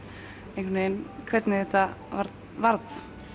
einhvern veginn hvernig þetta varð